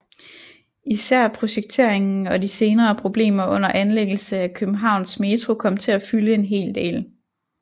Især projekteringen og de senere problemer under anlæggelsen af Københavns Metro kom til at fylde en hel del